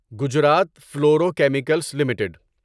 Gujarat fluoro chemicals limited